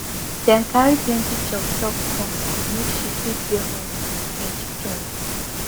dem carry plenty chop chop come make she fit dey alright get joy